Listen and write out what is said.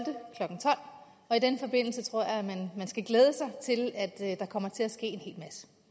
og i den forbindelse tror jeg man skal glæde sig til at der kommer til at ske